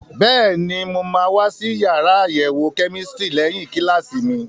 Bẹ́ẹ̀ni, mo máa wá sí yàrá àyẹ̀wò kẹ́mísítírì lẹ́yìn kíláàsì mi.